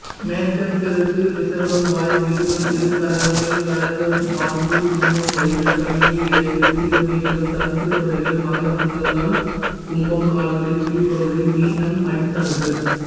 மேஷம்சிரசு ரிஷபம்வாய் மிதுனம்இரு கரங்கள் கடகம்மார்பு சிம்மம்வயிறு கன்னிஇடை விருச்சிகம்லிங்கம் தனுசுதொடைகள் மகரம்முழந்தாள் கும்பம்கால்களின் கீழ்பகுதி மீனம்அடித்தளங்கள்